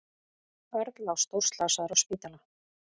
Örn lá stórslasaður á spítala.